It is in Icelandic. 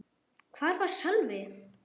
Hvar var Sölvi?